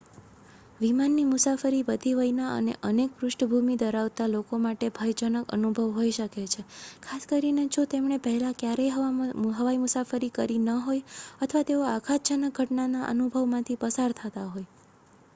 વિમાનની મુસાફરી બધી વયના અને પૃષ્ઠભૂમિ ધરાવતા લોકો માટે ભયજનક અનુભવ હોઈ શકે છે ખાસ કરીને જો તેમણે પહેલાં ક્યારેય હવાઈ મુસાફરી કરી ન હોય અથવા તેઓ આઘાતજનક ઘટનાના અનુભવમાંથી પસાર થયાં હોય